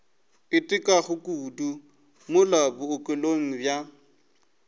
itekago kudu mola bookelong bja